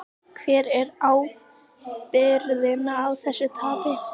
Hver ber ábyrgðina á þessu tapi?